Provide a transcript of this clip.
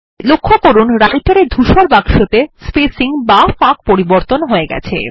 লক্ষ্য করুন Writer এ ধূসর বাক্সতে স্পেসিং বা ফাঁক পরিবর্তন হয়ে গেছে